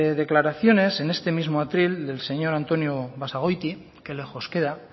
declaraciones en este mismo atril del señor antonio basagoiti qué lejos queda